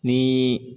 Ni